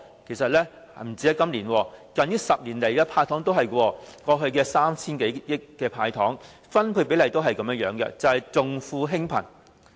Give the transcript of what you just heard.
其實不單今年，近10年的"派糖"措施均是如此，過去 3,000 多億元的"派糖"措施，其分配比例均是重富輕貧。